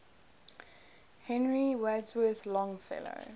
henry wadsworth longfellow